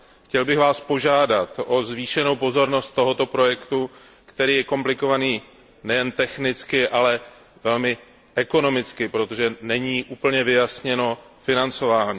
Chtěl bych Vás požádat o zvýšenou pozornost tomuto projektu, který je komplikovaný nejen technicky, ale i ekonomicky, protože není úplně vyjasněno financování.